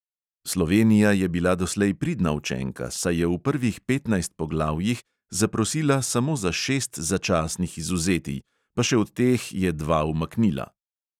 Slovenija je bila doslej pridna učenka, saj je v prvih petnajst poglavjih zaprosila samo za šest začasnih izvzetij, pa še od teh je dva umaknila.